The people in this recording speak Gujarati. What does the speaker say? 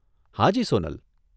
હાજી, સોનલ.